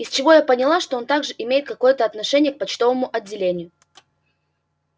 из чего я поняла что он также имеет какое-то отношение к почтовому отделению